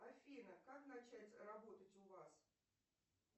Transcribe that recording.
афина как начать работать у вас